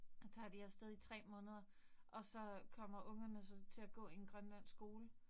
Tager de af sted i 3 måneder, og så kommer ungerne så til at gå i en grønlandsk skole